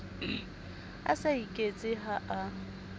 a sa iketse ha a